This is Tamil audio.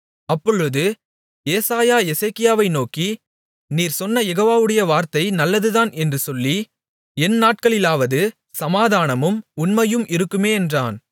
அப்பொழுது எசேக்கியா ஏசாயாவை நோக்கி நீர் சொன்ன யெகோவவுடைய வார்த்தை நல்லதுதான் என்று சொல்லி என் நாட்களிலாவது சமாதானமும் உண்மையும் இருக்குமே என்றான்